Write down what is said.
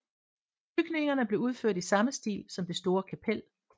Bygningerne blev udført i samme stil som det store kapel